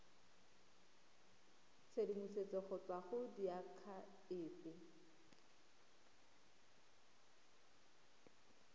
tshedimosetso go tswa go diakhaefe